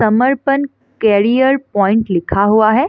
समर्पण career point लिखा हुआ है।